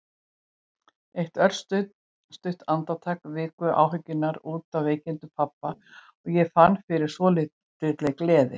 Eitt örstutt andartak viku áhyggjurnar út af veikindum pabba og ég fann fyrir svolítilli gleði.